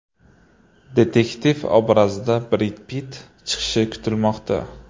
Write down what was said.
Detektiv obrazida Bred Pitt chiqishi kutilmoqda.